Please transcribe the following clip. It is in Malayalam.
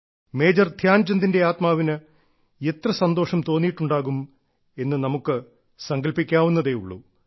മേജർ ധ്യാൻചന്ദിന്റെ ആത്മാവിന് എത്ര സന്തോഷം തോന്നിയിട്ടുണ്ടാകും എന്ന് നമ്മൾക്ക് സങ്കൽപിക്കാവുന്നതേയുള്ളൂ